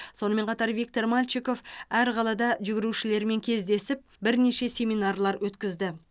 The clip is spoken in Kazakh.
сонымен қатар виктор мальчиков әр қалада жүгірушілермен кездесіп бірнеше семинарлар өткізді